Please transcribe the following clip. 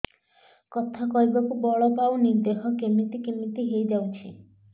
କଥା କହିବାକୁ ବଳ ପାଉନି ଦେହ କେମିତି କେମିତି ହେଇଯାଉଛି